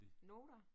Noter